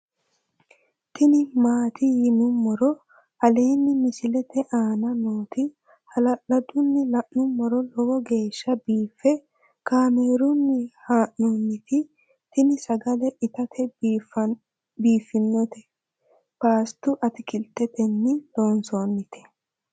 tini maati yinummoro aleenni misilete aana nooti hala'ladunni la'nummoro lowo geeshsha biiffe kaamerunni haa'nooniti tini sagale itate biiffinoti pasta atikiltetenni loonsoonite